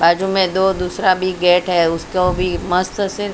बाजू में दो--